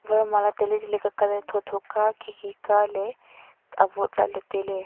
varmala taletale ka colour tho tho ka khi khi ka ley avot lahley tailey.